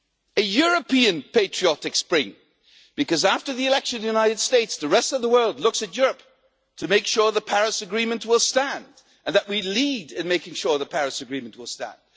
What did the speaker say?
A European patriotic spring, because after the election in the United States the rest of the world is looking to Europe to make sure the Paris Agreement will stand, and to take the lead in making sure the Paris Agreement will stand.